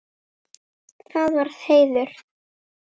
Það var heiður.